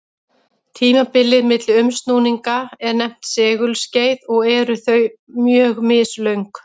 Tímabilið milli umsnúninga er nefnt segulskeið og eru þau mjög mislöng.